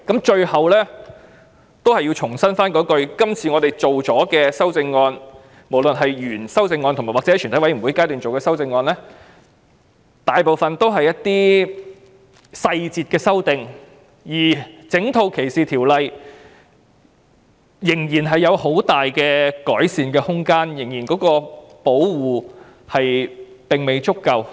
最後，我重申今次的法例修訂及全體委員會審議階段的修正案，大部分都是細節上的修訂，整套歧視條例仍然有很大的改善空間，因為保護並未足夠。